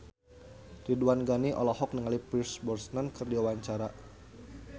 Ridwan Ghani olohok ningali Pierce Brosnan keur diwawancara